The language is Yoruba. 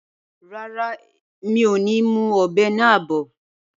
Rárá, mi ò ní mú ọ̀bẹ náà bọ̀